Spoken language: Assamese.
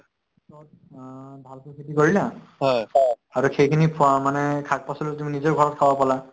অ, ভালকৈ খেতি কৰিলা আৰু সেইখিনি খোৱা মানে শাক-পাচলিও তুমি নিজৰ ঘৰত খাব পালা